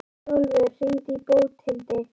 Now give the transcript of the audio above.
Hrólfur, hringdu í Bóthildi.